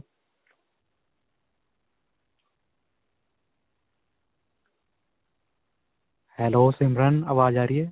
hello simran ਆਵਾਜ਼ ਆ ਰਹੀ ਹੈ?